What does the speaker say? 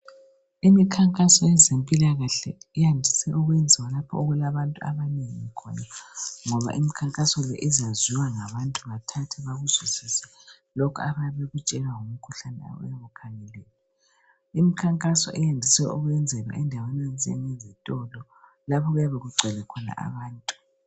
Imikhankaso yezempilakahle iyandise ukwenziwa lapho okulabantu abanengi khona ngoba imkhankaso le izazwiwa ngabantu bathathe bakuzwisise lokhu abayabe bekutshelwa ngomkhuhlane oyabukhangeliwe. Imkhankaso iyandiswe ukwenzelwa endaweni enjezitolo lapho okuyabe kugcwele khona abantu.